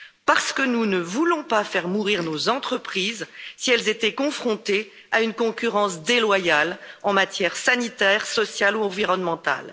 Parce que nous ne voulons pas faire mourir nos entreprises, si elles étaient confrontées à une concurrence déloyale en matière sanitaire, sociale ou environnementale.